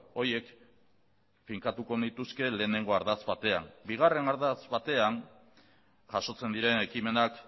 horiek finkatuko nituzke lehenengo ardatz batean bigarren ardatz batean jasotzen diren ekimenak